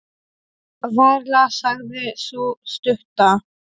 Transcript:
Varla, sagði sú stutta.